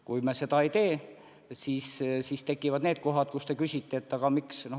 Kui me seda ei tee, siis tekivad need kohad, mille kohta te küsite: miks nii?